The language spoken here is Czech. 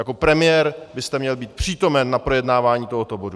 Jako premiér byste měl být přítomen na projednávání tohoto bodu!